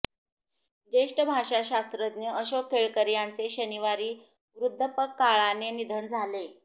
ज्येष्ठ भाषाशास्त्रज्ञ अशोक केळकर यांचे शनिवारी वृद्धापकाळाने निधन झाले